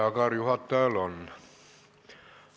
Aga juhatajal on.